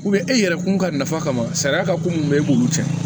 e yɛrɛ kun ka nafa kama sariya ka ko minnu bɛ e b'olu tiɲɛ